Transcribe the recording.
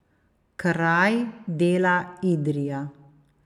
Kraj dela Idrija.